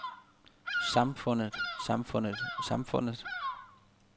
samfundet samfundet samfundet